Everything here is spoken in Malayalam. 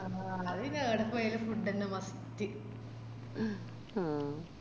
അഹ് അത്പിന്നേ എഡപ്പോയാലും food ന്നെ must